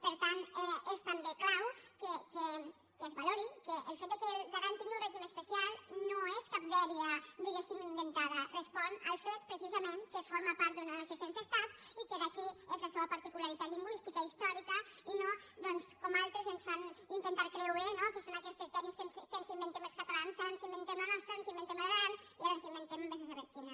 per tant és també clau que es valori que el fet que l’aran tingui un regim especial no és cap dèria diguéssim inventada respon al fet precisament que forma part d’una nació sense estat i que d’aquí és la seua particularitat lingüística i històrica i no doncs com altres ens fan intentar creure no que són aquestes dèries que ens inventem els catalans ara ens inventem la nostra ara ens inventem la de l’aran i ara ens inventem vés a saber quina